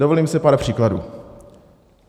Dovolím si pár příkladů.